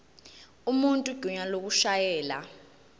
umuntu igunya lokushayela